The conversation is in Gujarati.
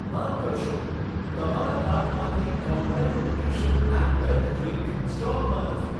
માફ કરશો, તમારા કાર્ટમાંથી Complan nutrition and health drink સ્ટોકમાં નથી.